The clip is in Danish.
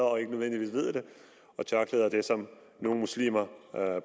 og ikke nødvendigvis ved det og tørklæder er det som nogle muslimer